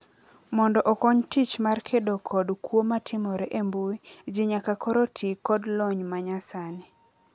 Mondo okony tich mar kedo kod kwo matimore e mbui, jii nyaka koro tii kod lony manyasni.